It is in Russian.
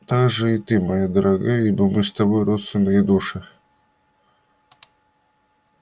также и ты моя дорогая ибо мы с тобой родственные души